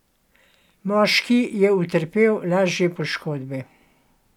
Moški je utrpel lažje poškodbe.